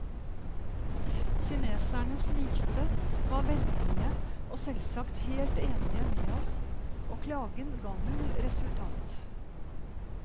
Kineserne smilte, var vennlige og selvsagt helt enige med oss, og klagen ga null resultat.